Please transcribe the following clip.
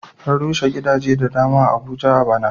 An rushe gidaje da dama a Abuja a ɓana.